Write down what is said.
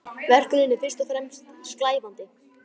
Verkunin er fyrst og fremst slævandi.